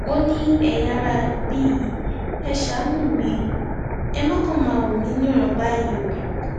ó ní ẹyin aráabí yìí ẹ ṣàánú mi ẹ má kàn máa wò mí níran báyìí o